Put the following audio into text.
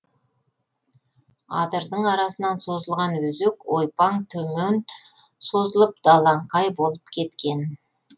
адырдың арасынан созылған өзек ойпаң төмен созылып далаңқай болып кеткен